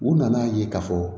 U nana ye k'a fɔ